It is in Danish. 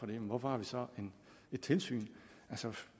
men hvorfor har vi så et tilsyn altså